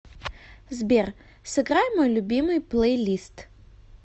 сбер сыграй мой любимый плейлист